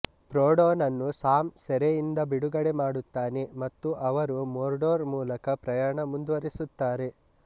ಫ್ರೋಡೊನನ್ನು Sam ಸೆರೆಯಿಂದ ಬಿಡುಗಡೆ ಮಾಡುತ್ತಾನೆ ಮತ್ತು ಅವರು ಮೊರ್ಡೊರ್ ಮೂಲಕ ಪ್ರಯಾಣ ಮುಂದುವರಿಸುತ್ತಾರೆ